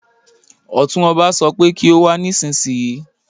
Ọ̀tún ọba sọ pé kí o wá nísinsìnyí